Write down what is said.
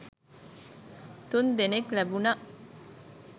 තුන් දෙනෙක් ලැබුනා.